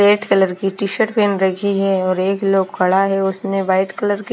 red colour की T shirt पहन रखी है और एक लोग खड़ा है उसने व्हाइट कलर की--